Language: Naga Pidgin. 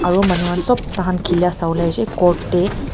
aro manu khan sop tahan khilala sawolae aishey court tae.